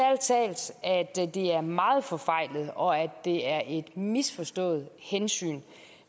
det er meget forfejlet og at det er et misforstået hensyn